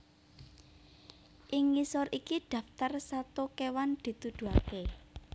Ing ngisor iki daftar sato kéwan dituduhaké